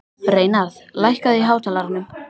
Reynarð, lækkaðu í hátalaranum.